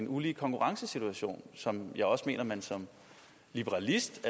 ulige konkurrencesituationer som jeg også mener man som liberalist